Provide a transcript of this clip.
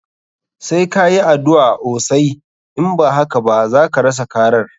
Sai ka yi addu'a osai, in ba haka ba zaka rasa karar.